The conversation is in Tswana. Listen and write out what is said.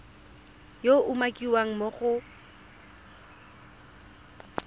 yo a umakiwang mo go